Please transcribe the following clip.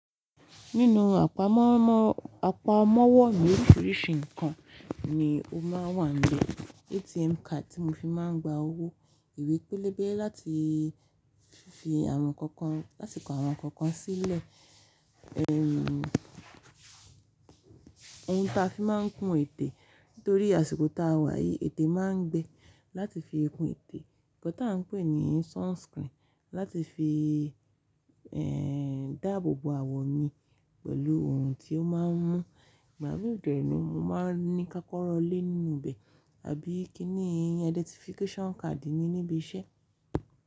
Nínú àpamọ́wọ́ mọ́wọ́ àpamọ́wọ́ mi oríṣiríṣi nǹkan ni ó máa wà níbẹ̀. ATM card tí mo fi máa ń gba owó, ìwé pélébé láti fi àwọn ǹkan kan, látiko àwọn ǹkan kan sílẹ̀. Ohun tí a fi máa ń kun ètè. Nítorí àsìkò ta wà yìí ètè máa ń gbẹ. Láti fi kun ètè. Ǹkan tá a ń pè ní sunscreen, láti fi dáàbò bo àwọ̀ mi pẹ̀lú orun tí ó máa ń mú ìgbà mí dèni. Mo máa ń ní kákọ́rọ́ lé nínú bẹ̀ àbí kíni identification card mi níbi iṣẹ́.